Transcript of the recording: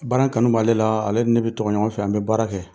Baara in kanu b'ale la, ale ni ne bi to yan ɲɔgɔn fɛ . An bi baara kɛ.